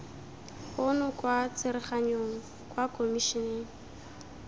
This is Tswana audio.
ono kwa tsereganyong kwa komišeneng